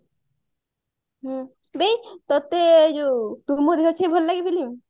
ହୁଁ ବେ ତତେ ଏଇ ଯୋଉ ତୁ ମୋ ଦେହର ଛାଇ ଭଲଲାଗେ film